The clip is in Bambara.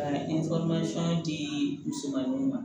Ka di musomaninw ma